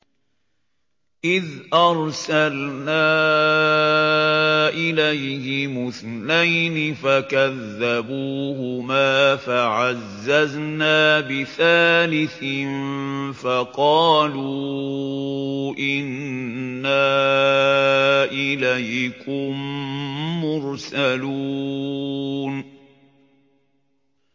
إِذْ أَرْسَلْنَا إِلَيْهِمُ اثْنَيْنِ فَكَذَّبُوهُمَا فَعَزَّزْنَا بِثَالِثٍ فَقَالُوا إِنَّا إِلَيْكُم مُّرْسَلُونَ